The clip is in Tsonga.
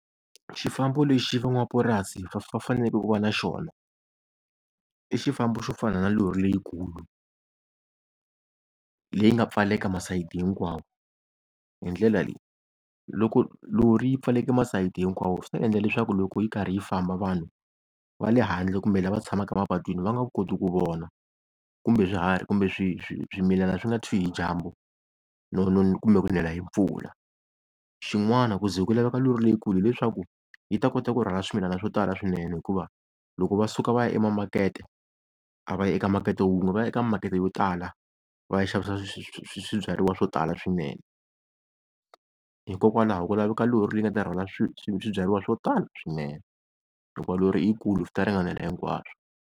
Xifambo lexi van'wamapurasi va faneleke ku va na xona i xifambo xo fana na lori leyikulu leyi nga pfaleka masayiti hinkwawo, hi ndlela leyi loko lori yi pfaleke masayiti hinkwawo swi ta endla leswaku loko yi karhi yi famba vanhu va le handle kumbe lava tshamaka mapatwini va nga koti ku vona, kumbe swiharhi kumbe swi, swimilana swi nga tshwi hi dyambu kumbe ku nela hi mpfula. Xin'wana ku ze ku laveka lori leyikulu hileswaku yi ta kota ku rhwala swimilana swo tala swinene, hikuva loko va suka va ya emakete a va yi eka makete wun'we va ya eka makete yo tala va ya xavisa swibyariwa swo tala swinene. Hikokwalaho ku laveka lori le yi nga ta rhwala swi, swibyariwa swo tala swinene, hikwalaho lori yikulu swi ta ringanela hinkwaswo.